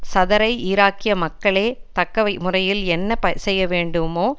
சதரை ஈராக்கிய மக்களே தக்க முறையில் என்ன செய்யவேண்டுமோ